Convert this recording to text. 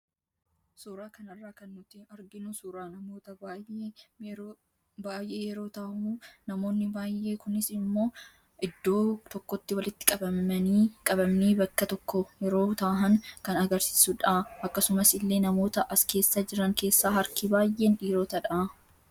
Suura kanarraa kan nuti arginu suuraa namoota baayee yeroo tahu namoonni baayee kunis iddoo tokkotti walitti qabamnii bakka tokko yeroo tahan kan agarsiisudha. Akkasuma illee namoota as keessa jiran keessaa harki baayeen dhiirotadha.